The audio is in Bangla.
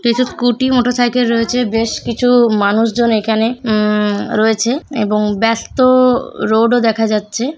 কিছু স্কুলটি মোটরসাইকেল রয়েছে বেশ কিছু মানুষজন এখানে উম রয়েছে এবং ব্যস্ত রোডও দেখা যাচ্ছে।